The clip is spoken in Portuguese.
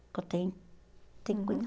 Porque eu tenho tenho que cuidar.